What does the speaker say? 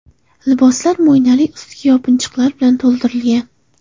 Liboslar mo‘ynali ustki yopinchiqlar bilan to‘ldirilgan.